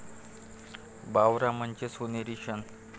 बावरा मन'चे सोनेरी क्षण